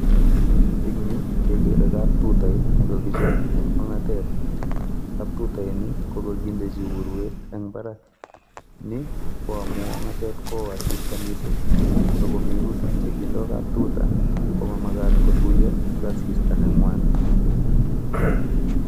Eng yu kekere kaptutait nekokichob en ongatet, kaptutaini kokondechi urwet en imbarani ni ko amun ongatet kowon asista missing, ako minutik chekindo kaptutaa komomagat kotuiyo ak asista nengwan.